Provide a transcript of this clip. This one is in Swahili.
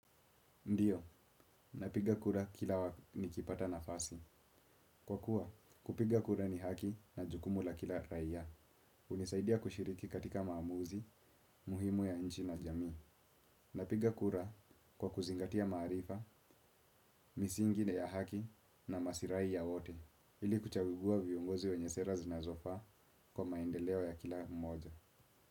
Ndiyo, napiga kura kila wa, nikipata nafasi. Kwa kuwa, kupiga kura ni haki na jukumu la kila raia. Hunisaidia kushiriki katika maamuzi, muhimu ya nchi na jamii. Napiga kura kwa kuzingatia maarifa, misingi ya haki na masirai ya wote. Ili kuchagua viongozi wenye sera zinazofaa, kwa maendeleo ya kila mmoja.